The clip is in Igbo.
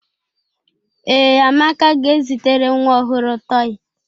Ee, Amaka ga-ezitere nwa ọhụrụ tọị.